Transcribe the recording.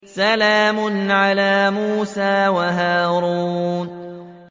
سَلَامٌ عَلَىٰ مُوسَىٰ وَهَارُونَ